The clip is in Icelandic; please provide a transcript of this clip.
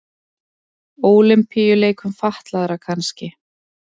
Ólympíuleikum fatlaðra kannski.